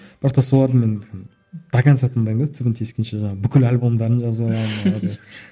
бірақ та соларды мен до конца тыңдаймын да түбін тескенше жаңағы бүкіл альбомдарын жазып аламын